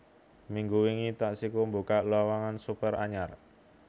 Minggu wingi Taksiku mbukak lowongan supir anyar